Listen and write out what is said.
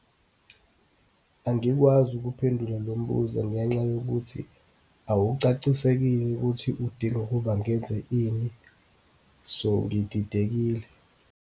Angikwazi ukuphendula lo mbuzo ngenxa yokuthi awucacisekile ukuthi udinga ukuba ngenze ini. So, ngididekile.